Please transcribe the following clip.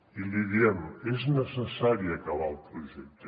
i l’hi diem és necessari acabar el projecte